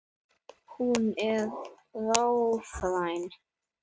Hún er rafræn.